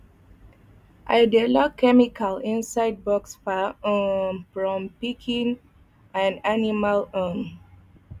i dey lock chemical inside box far um from pikin and animal um